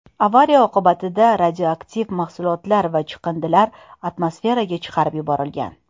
Avariya oqibatida radioaktiv mahsulotlar va chiqindilar atmosferaga chiqarib yuborilgan.